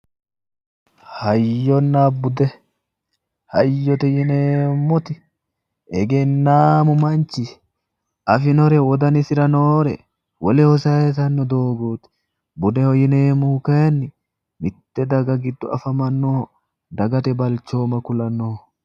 Hayyonna bude, hayyotte yineemmoti egenaamu manchi afinore wodanisira noore woleho sayiisanno doogooti. Budeho yineemmohu kayiinni mitte daga giddo afamanoha dagate balchooma kulannoho.